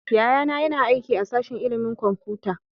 Yayana yana aiki a sashin ilimin kwamfuta